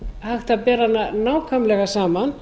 hægt að bera hana nákvæmlega saman